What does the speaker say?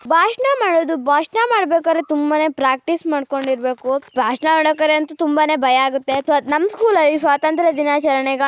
ಭಾಷಣ ಮಾಡೋದು ಭಾಷಣ ಮಾಡಬೇಕಾದರೆ ತುಂಬಾನೇ ಪ್ರಾಕ್ಟೀಸ್ ಮಾಡಿಕೊಂಡಿರಬೇಕು. ಭಾಷಣ ಮಾಡಬೇಕಾದರೆ ಅಂತು ತುಂಬಾನೆ ಭಯ ಆಗುತ್ತೆ ಸೋ ನಮ್ ಸ್ಕೂಲಲ್ಲಿ ಸ್ವಾತಂತ್ರ್ಯ ದಿನಾಚರಣೆ--